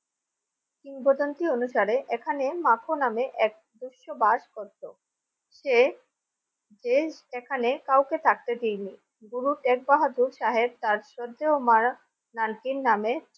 কিংবদন্তি অনুসারে এখানে মাখ নামে এক দস্যু বাস করত সে যে এখানে কাউকে থাকতে দিইনি গুরু শেখ বাহাদুর সাহেব তার শ্রদ্ধেয় মা নানকি নামে।